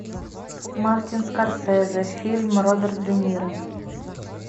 мартин скорсезе фильм роберт де ниро